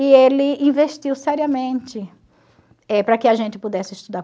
E ele investiu seriamente eh para que a gente pudesse estudar.